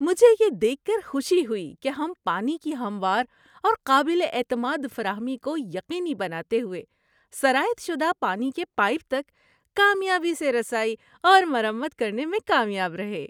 مجھے یہ دیکھ کر خوشی ہوئی کہ ہم پانی کی ہموار اور قابل اعتماد فراہمی کو یقینی بناتے ہوئے سرایت شدہ پانی کے پائپ تک کامیابی سے رسائی اور مرمت کرنے میں کامیاب رہے۔